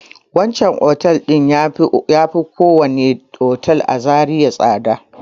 Wancan otel ɗin ya fi kowane otel a Zariya tsada.